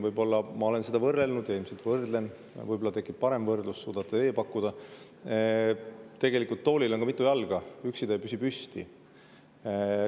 Võib-olla ma olen seda võrrelnud ja ilmselt võrdlen – võib-olla tekib mul parem võrdlus või suudate teie selle pakkuda –, tooliga: toolil on mitu jalga, üksi ta ei püsi püsti.